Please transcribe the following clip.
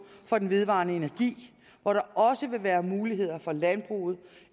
for den vedvarende energi hvor der også vil være muligheder for landbruget